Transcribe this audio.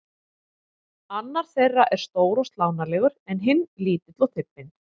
Annar þeirra er stór og slánalegur en hinn lítill og þybbinn.